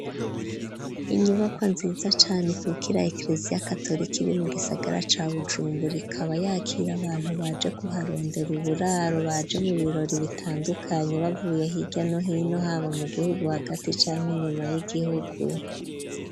Inyubakwa, nziza cane, ikukira, ekereziya katolika, iri mu gisagara, ca Bujumbura; ikaba, yakira abantu, baje kuharondera, uburaro, baje mu birori, bitandukanye, bavuye hirya no hino; haba, mu gihugu hagati, canke inyuma y'igihugu.